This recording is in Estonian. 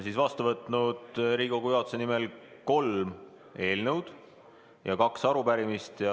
Nii, olen Riigikogu juhatuse nimel vastu võtnud kolm eelnõu ja kaks arupärimist.